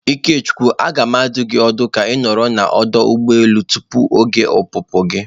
Ikechukwu, a ga m adụ gi ọdụ ka ị nọrọ na ọdụ ụgbọ elu tupu oge opupu gi.